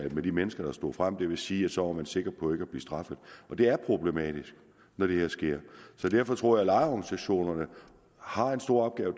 med de mennesker der stod frem og det vil sige at så var man sikker på ikke at blive straffet det er problematisk når det her sker så derfor tror jeg at lejerorganisationerne har en stor opgave og